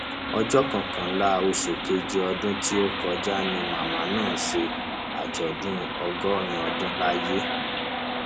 ọjọ kọkànlá oṣù keje ọdún tó kọjá ni màmá náà ṣe àjọdún ọgọrin ọdún láyé